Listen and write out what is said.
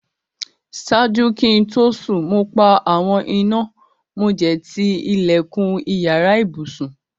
Ṣáàjú kí n tó sún, mo pa awọn ìnà àti tí ilẹ̀kún ìyàrà ìbùṣún.